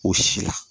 O si la